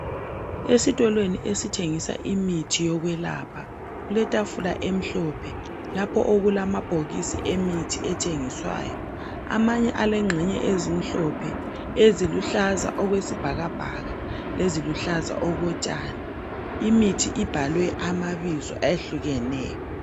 Esitolo esithengisa imithi yokwelapha kuletafula emhlophe lapho okulamabhokisi emithi ethengiswayo amanye alengxenye ezimhlophe eziluhlaza okwesibhakabhaka leziluhlaza okotshani imithi ibhalwe amabizo ayehlukeneyo.